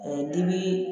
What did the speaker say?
dimi